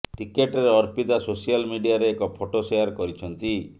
ନିକଟରେ ଅର୍ପିତା ସୋସିଆଲ ମିଡିଆରେ ଏକ ଫଟୋ ସେୟାର କରିଛନ୍ତି